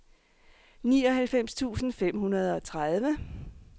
nioghalvfems tusind fem hundrede og tredive